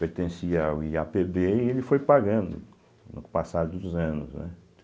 Pertencia ao i á pê bê, ele foi pagando no passar dos anos, né?